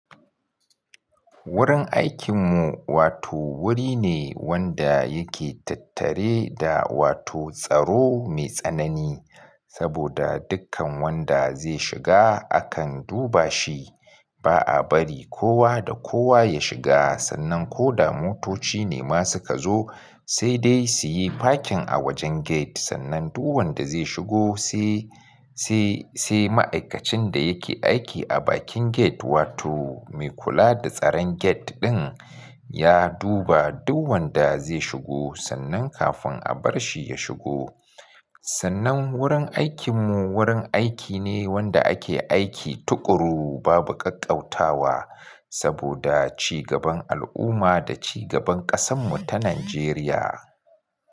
Wurin aikinmu wato wuri ne wanda yake tattare da wato tsaro mai tsanani, saboda dukkan wanda zai shiga akan duba shi. Ba a bari kowa da kowa ya shiga sannan ko da motoci ne ma suka zo sai dai su yi parking a wajen gate. Sannan duk wanda zai shigo sai, sai, sai ma'aikacin da yake aiki a bakin gate wato mai kula da tsaron gate ɗin ya duba duk wanda zai shigo sannan kafin a bar shi ya shigo. Sannan wurin aikinmu wurin aiki ne wanda ake aiki tukuru babu ƙaƙƙautawa saboda cigaban al'umma da cigaban ƙasanmu ta Najeriya.